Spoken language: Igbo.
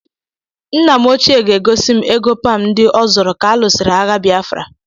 Nna m ochie ga-egosi m ego Pam ndị o zoro ka a lụsịrị agha Biafra